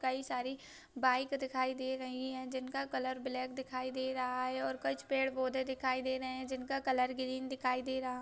कई सारे बाइक दिखाई दे रही है जिनका कलर ब्लॅक दिखाई दे रहा है और कुछ पेड़े पौधे दिखाई दे रहे है जिनका कलर ग्रीन दिखाई दे रहा--